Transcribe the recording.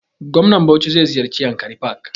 Gwamnan bauchi zai ziyarce yankari park